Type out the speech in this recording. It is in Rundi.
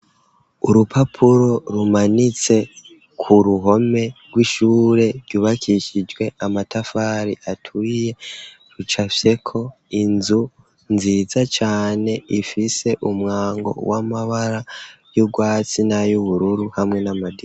Urupapuro rumanitse ku ruhome rw'ishure, ryubakishijwe amatafari aturiye rucafyeko inzu nziza cyane ifise umwango w'amabara y'ubwatsi na y'ubururu hamwe n'amadirisha.